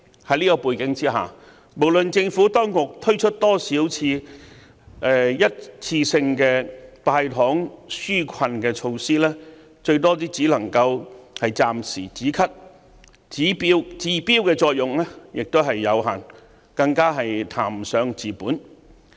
在這樣的背景之下，無論政府當局推出多少一次性的"派糖"紓困措施，最多只能夠暫時"止咳"，治標的作用有限，更談不上治本。